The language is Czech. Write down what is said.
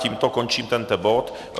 Tímto končím tento bod.